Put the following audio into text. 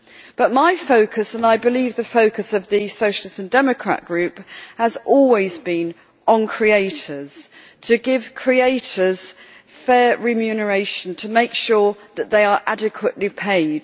But my focus, and I believe the focus of the Socialist and Democrat Group, has always been on creators to give creators fair remuneration, to make sure that they are adequately paid.